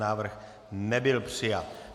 Návrh nebyl přijat.